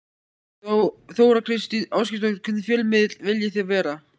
Þóra Kristín Ásgeirsdóttir: Hvernig fjölmiðill viljið þið vera?